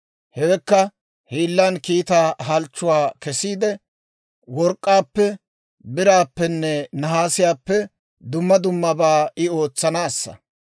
hewekka hiillan kiitaa halchchuwaa kessiide, work'k'aappe, biraappenne nahaasiyaappe dumma dummabaa I ootsanaassa.